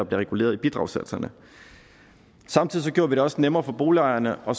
reguleret i bidragssatserne samtidig gjorde vi det også nemmere for boligejerne at